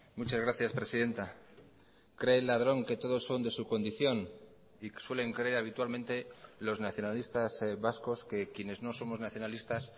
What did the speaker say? muchas gracias presidenta cree el ladrón que todos son de su condición y suelen creer habitualmente los nacionalistas vascos que quienes no somos nacionalistas